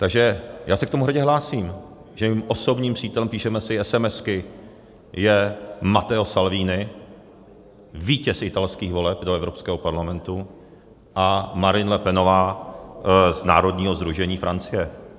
Takže já se k tomu hrdě hlásím, že mým osobním přítelem, píšeme si esemesky, je Matteo Salvini, vítěz italských voleb do Evropského parlamentu, a Marine Le Penová z Národního sdružení Francie.